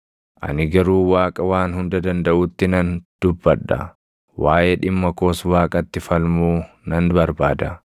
Ani garuu Waaqa Waan Hunda Dandaʼutti nan dubbadha; waaʼee dhimma koos Waaqatti falmuu nan barbaada.